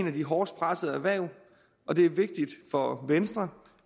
af de hårdest pressede erhverv og det er vigtigt for venstre